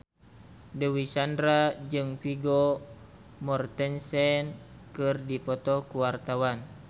Dewi Sandra jeung Vigo Mortensen keur dipoto ku wartawan